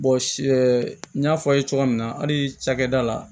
n y'a fɔ aw ye cogo min na hali cakɛda la